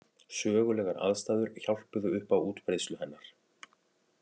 Sögulegar aðstæður hjálpuðu upp á útbreiðslu hennar.